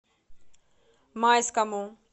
майскому